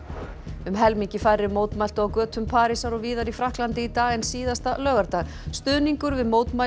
um helmingi færri mótmæltu á götum Parísar og víðar í Frakklandi í dag en síðasta laugardag stuðningur við mótmæli